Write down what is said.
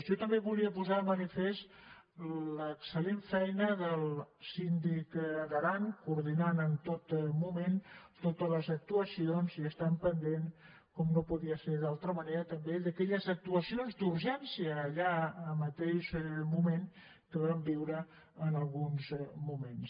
jo també volia posar de manifest l’excel·lent feina del síndic d’aran que va coordinar en tot moment totes les actuacions i estant pendent com no podia ser d’altra manera també d’aquelles actuacions d’urgència allà en el mateix moment que vam viure en alguns moments